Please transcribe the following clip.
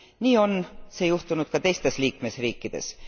Nii on see juhtunud ka teistes liikmesriikides.